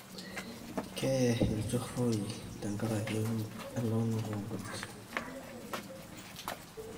keye inchoorei tenkaraki elaunoto onkujit